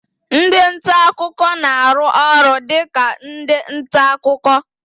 Ndị nta akụkọ na-arụ ọrụ dị ka ndị nta akụkọ